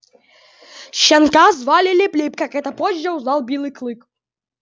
щенка звали лип-лип как это позже узнал белый клык